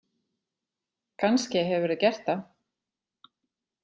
Kannske hefurðu gert það.